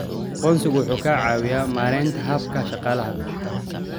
Aqoonsigu waxa uu ka caawiyaa maaraynta hababka dhaqaalaha.